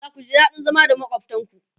zaku ji daɗin zama da makwaftan ku